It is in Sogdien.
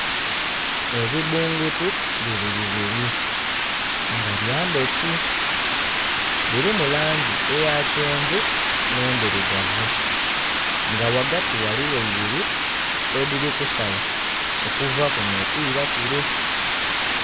Ebibbungutu biri bibiri nga byandhuki, dhirimu langi eya kyenvu n'endhirugavu, nga wagati ghaligho ibiri edhiri kusala okuva kuno okwira kule.